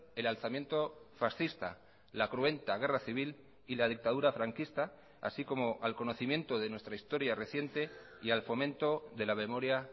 el alzamiento fascista la cruenta guerra civil y la dictadura franquista así como al conocimiento de nuestra historia reciente y al fomento de la memoria